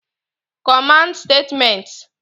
Command Statements